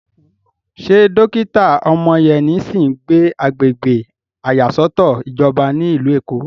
Ṣé dókítà Omoyeni sì ń gbé agbègbè ìyàsọ́tọ̀ ìjọba ní ìlú Èkó?